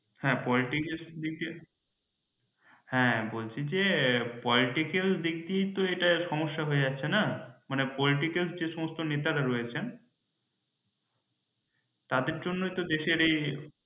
হ্যা political হ্যাঁ বলছি যে political দিক দিয়ে তো এটা সমস্যা হয়ে যাচ্ছে না মানে political যে সমস্ত নেতারা রয়েছে তাদের জন্যই তো